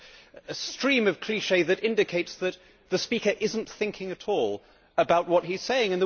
It was a stream of clichés that indicates that the speaker is not thinking at all about what he is saying.